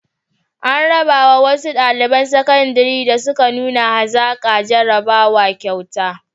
An raba wa wasu ɗaliban sakandare da suka nuna hazaƙa a jarrabawa kyautuka.